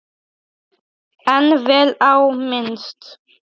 En vel á minnst.